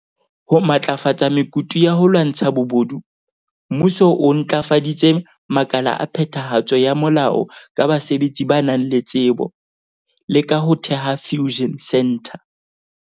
Ho matlafatsa mekutu ya ho lwantsha bobodu, Mmuso o ntlafaditse makala a phetha hatso ya molao ka basebetsi ba nang le tsebo, le ka ho theha Fusion Centre.